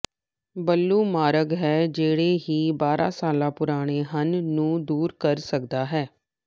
blue ਮਾਰਗ ਹੈ ਜਿਹੜੇ ਹੀ ਬਾਰ੍ਹਾ ਸਾਲ ਪੁਰਾਣੇ ਹਨ ਨੂੰ ਦੂਰ ਕਰ ਸਕਦਾ ਹੈ